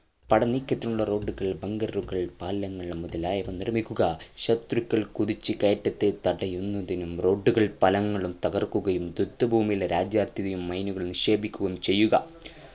പടനീക്കത്തിനുള്ള road കൾ bunger ഉകൾ പാലങ്ങൾ മുതലായവ നിർമ്മിക്കുക ശത്രുക്കൾ കുതിച്ചു കയറ്റാതെ തടയുന്നതിനും road കളും പാലങ്ങലും തകർക്കുകയും യുദ്ധഭൂമിയിലും രാജ്യാതിർത്തിയിലും മൈനുകൾ നിക്ഷേപിക്കുകയും ചെയ്യുക